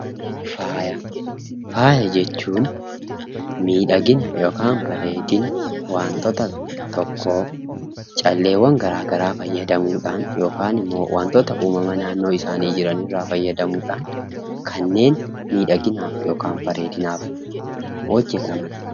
Faaya, faaya jechuun miidhagina yookaan bareedina wantoota tokkoo calleewwan gara garaa fayyadamuudhaan yookinimmoo wantoota ,uummama naannoo isaanii jiran irraa fayyadamuudhaan kanneen miidhaginaaf yookaan bareedinaaf hojjataman.